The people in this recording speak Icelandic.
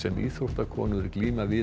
íþróttakonur glíma við